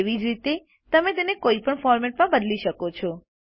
તેવી જ રીતે તમે તેને કોઈપણ ફોરમેટમાં બદલી શકો છો